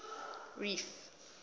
reef